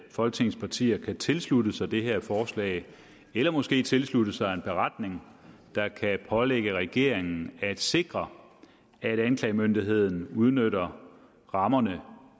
folketingets partier kan tilslutte sig det her forslag eller måske tilslutte sig en beretning der kan pålægge regeringen at sikre at anklagemyndigheden udnytter rammerne